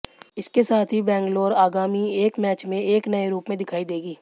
इसके साथ ही बैंगलोर आगामी एक मैच में एक नए रूप में दिखाई देगी